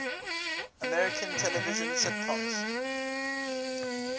american television sitcoms